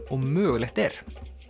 og mögulegt er